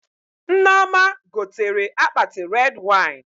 Nneoma gotere akpati red wine